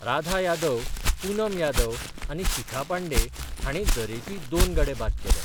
राधा यादव, पुनम यादव आनी शिखा पांडे हांणी दरेकी दोन गडे बाद केले.